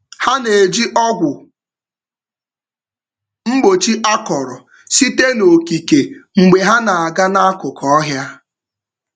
Ha na-eji ọgwụ mgbochi akọrọ sitere n’okike mgbe ha na-aga n’akụkụ ọhịa.